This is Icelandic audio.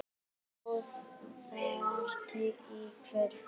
Boð þar í kvöld.